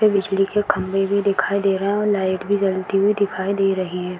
पे बिजली के खंभे भी दिखाई दे रहे हैं और लाइट भी जलती हुई दिखाई दे रही है।